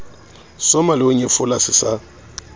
soma leho nyefola se sa